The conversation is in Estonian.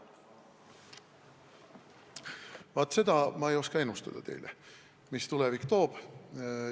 Vaat seda ei oska ma teile ennustada, mis tulevik toob.